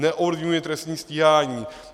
Neovlivňujme trestní stíhání.